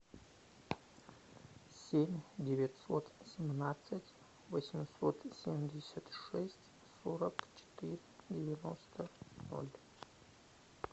семь девятьсот семнадцать восемьсот семьдесят шесть сорок четыре девяносто ноль